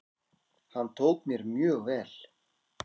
Hann tók mér mjög vel.